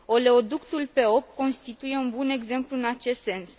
Oleoductul P8 constituie un bun exemplu în acest sens.